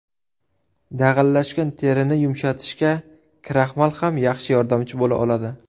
Dag‘allashgan terini yumshatishda kraxmal ham yaxshi yordamchi bo‘la oladi.